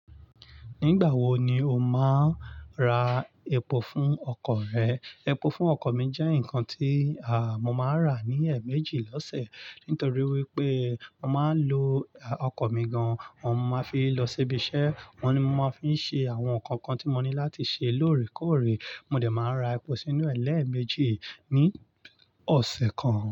Nígbà wo ni o máa ra epo fún ọkọ̀ rẹ? Epo fún ọkọ̀ mi jẹ́ nǹkan tí mò máa rà ní ẹ̀ẹ̀méjì lọ́sẹ̀. Nítorí wípé mo máa ń lo ọkọ̀ mi gan, òun mo máa ń fi lọ síbi iṣẹ́, òun ni mo máa ń fi ṣe àwọn nǹkan kan tí mo ní láti ṣe lóòrèkóòrè. Mo dẹ̀ máa rà epo sínú ẹlẹ́ẹ̀mẹjì ní ọ̀sẹ̀ kan.